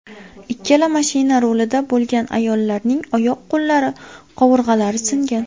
Ikkala mashina rulida bo‘lgan ayollarning oyoq-qo‘llari, qovurg‘alari singan.